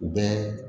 U bɛɛ